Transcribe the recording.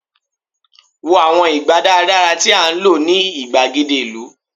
wo àwọn ìgbà daradara ti a lo ni igbagede ìlú